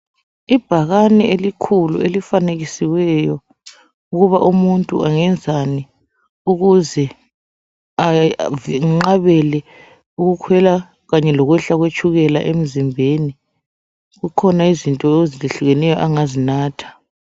ibhakane elikhulu elifanekisiweyo ukuba umuntu angenzani ukuze enqabele ukukhwela kanye lokwehla kwetshukela emzimbeni kukhona izinto ezehlukeneyo angazinatha